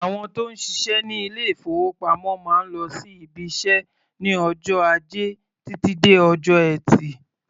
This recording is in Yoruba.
Àwọn tó ń ṣiṣẹ́ ní ilé-ìfowópamọ́ máa ń lọ sí ibiṣẹ́ ní ọjọ́ Ajẹ́ títí di ọjọ́ Ẹtì.